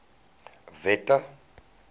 wette